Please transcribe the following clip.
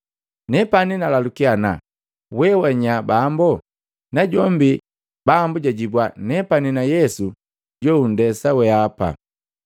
Nepani nalalukia ana, ‘We wanya Bambo?’ Najombi Bambu jajibwa, ‘Nepani na Yesu jountesa weapa.’